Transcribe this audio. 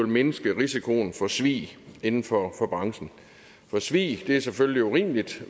mindske risikoen for svig inden for branchen for svig er selvfølgelig urimeligt